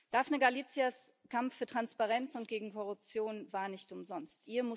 Daphne Galizias Kampf für Transparenz und gegen Korruption war nicht umsonst.